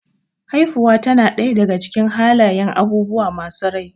Haifuwa tana ɗaya daga cikin halayyan abubuwa masu rai